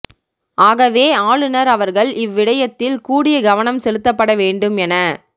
ஆகவே ஆளுநர் அவர்கள் இவ் விடயத்தில் கூடிய கவனம் செலுத்தப்பட வேண்டும் என